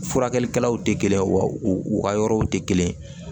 Furakɛlikɛlaw tɛ kelen ye wa u ka yɔrɔw tɛ kelen ye